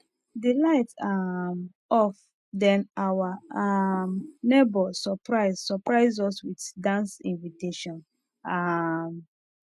the light um off then our um neighbors surprise surprise us with dance invitation um